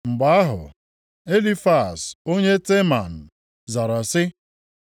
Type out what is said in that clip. Mgbe ahụ, Elifaz onye Teman zara sị: